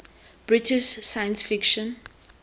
british science fiction